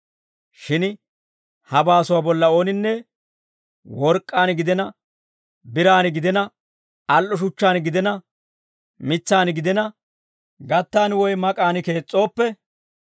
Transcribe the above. Shin ha baasuwaa bolla ooninne work'k'aan gidina, biraan gidina, al"o shuchchaan gidina, mitsaan gidina, gattan woy mak'aan kees's'ooppe,